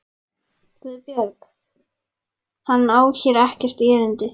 GUÐBJÖRG: Hann á hér ekkert erindi.